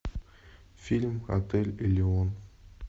фильм отель элеон